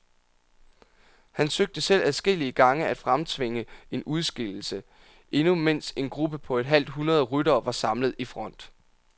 Han søgte selv adskillige gange at fremtvinge en udskillelse, endnu mens en gruppe på et halvt hundrede ryttere var samlet i front.